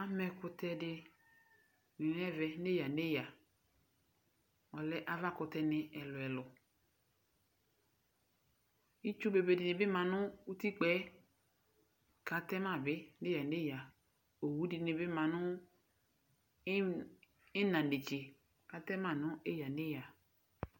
Ama ɛkʋtɛ di n'ɛmɛ nʋ eyǝ n'eyǝ, ɔlɛ avakʋtɛni ɛlʋ ɛlʋ Itsu bebeni bi ma nʋ utikpa k'atɛ ma bi n'eyǝ n'eyǝ Owʋ dini bi ma nʋ ina netse k'atɛ ma nʋ eyǝ n'eyǝ